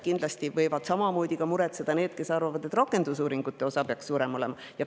Kindlasti võivad samamoodi muretseda need, kes arvavad, et rakendusuuringute osa peaks suurem olema.